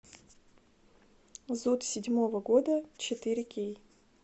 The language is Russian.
зуд седьмого года четыре кей